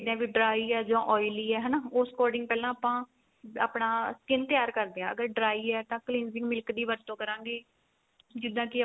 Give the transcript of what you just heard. ਵੀ dry ਏ ਜਾਂ oily ਏ ਹਨਾ ਉਸ according ਪਹਿਲਾਂ ਆਪਾਂ ਆਪਣਾ skin ਤਿਆਰ ਕਰਦੇ ਆ ਅਗਰ dry ਏ ਤਾਂ cleansing milk ਦੀ ਵਰਤੋ ਕਰਾਂਗੇ